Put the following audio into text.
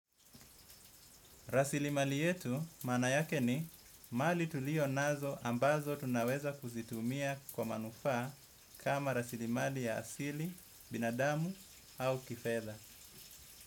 Rasilimali yetu maana yake ni mali tulio nazo ambazo tunaweza kuzitumia kwa manufaa kama rasilimali ya asili, binadamu au kifedha.